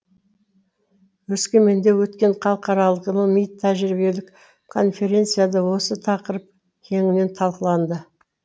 өскеменде өткен халықаралық ғылыми тәжірибелік конференцияда осы тақырып кеңінен талқыланды